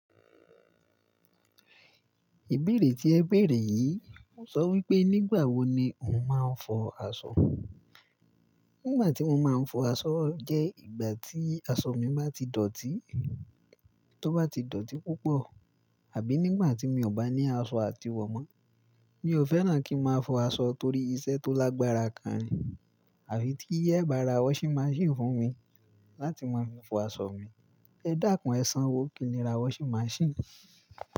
Ìbéèrè tí ẹ béèrè yìí ń sọ wípé nígbà wo ni ǹ máa ń fọ aṣọ. Nígbà tí mo máa ń fọ aṣọ jẹ́ ìgbà tí aṣọ mi bá ti dọ̀tí, tó bá ti dọ̀tí púpọ̀ àbí nígbà tí mi ò bá ní aṣọ àtiwọ̀ mọ́. Mi ò fẹ́ràn kí ń máa fọ aṣọ torí iṣẹ́ tó lágbára gan nhi, àfi tí eẹ bá ra washing machine fún mi láti máa fi fọ aṣọ mi. Ẹ dẹ́kun ẹsan wo kìí le ra washing machine?